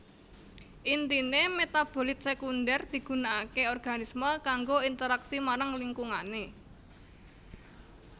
Intine metabolit sekunder digunakake organisme kanggo interaksi marang lingkungane